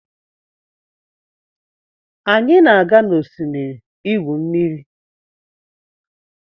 Anyi na-aga n'osimiri igwu mmiri